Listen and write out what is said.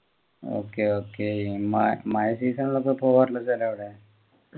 okay okay എന്ന മഴ season ലൊക്കെ പോകാറുണ്ടോ അവിടെ